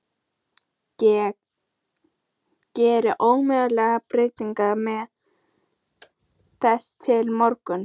Ég get ómögulega beðið með það til morguns.